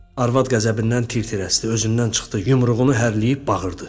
Arvad qəzəbindən tir-tir əsdi, özündən çıxdı, yumruğunu hərləyib bağırdı.